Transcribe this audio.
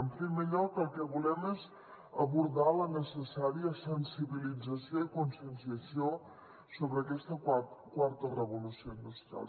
en primer lloc el que volem és abordar la necessària sensibilització i conscienciació sobre aquesta quarta revolució industrial